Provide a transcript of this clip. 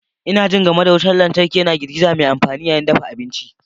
Ina jin game da wutar lantarki yana girgiza mai amfani yayin dafa abinci.